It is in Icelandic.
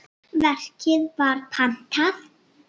Verkið var pantað.